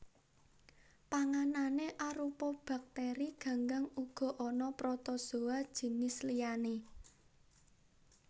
Panganané arupa baktèri ganggang uga ana protozoa jinis liyané